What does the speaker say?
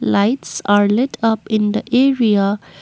lights are lit up in the area.